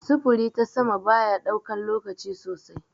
Sufuri ta sama bayaɗaukan lokaci sosai.